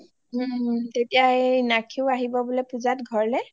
ওম ওম তেতিয়া এই নাক্ষী ও আহিব বোলে পূজাত ঘৰলে